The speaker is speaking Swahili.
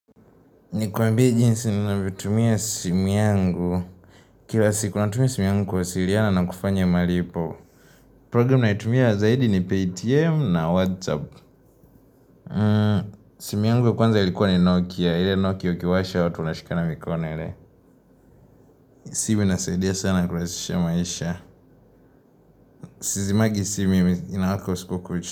Nikuambie jinsi ninavyoitumia simu yangu. Kila siku natumia simu yangu kuwasiliana na kufanya malipo. Programu naitumia zaidi ni Paytm na Whatsapp. Simu yangu ya kwanza ilikuwa ni Nokia. Ile Nokia ukiwasha watu wanashikana mikone ile. Simu inasaidia sana kurahisisha maisha. Sizimagi simu mimi inawaka usiku kucha.